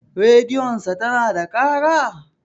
Rediyon sa tana da ƙara?